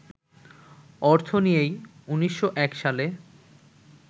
অর্থ নিয়েই ১৯০১ সালে